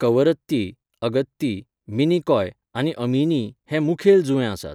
वैदिक भारताच्या इतिहासाची पुनर्रचणूक मूळ ग्रंथ अंतर्गत तपशिलांचेर आदारिल्ली आसली तरी संबंदीत पुरातत्वीय तपशीलांकडेन तांचो संबंद जोडुं येता.